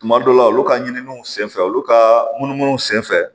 Tuma dɔw la olu ka ɲininiw senfɛ olu ka munumunu senfɛ